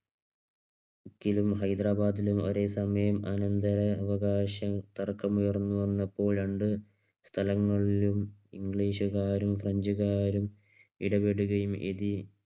ഹൈദരാബാദിലും ഒരേ സമയം അനന്തരാവകാശ തർക്കമുയർന്നു വന്നപ്പോൾ രണ്ട് സ്ഥലങ്ങളിലും ഇംഗ്ലീഷുകാരും ഫ്രഞ്ചുകാരും ഇടപെടുകയും ഇനി